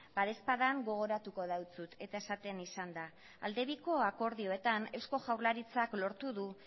badaezpada gogoratuko deutsut eta esaten izan da aldebiko akordioetan eusko jaurlaritzak lortu du